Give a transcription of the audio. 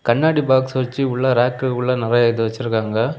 கண்ணாடி பாக்ஸ் வச்சி உள்ள ராக்குல்ல நெறய எதோ வச்சிருக்காங்க.